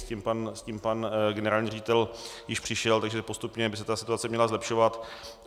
S tím pan generální ředitel již přišel, takže postupně by se ta situace měla zlepšovat.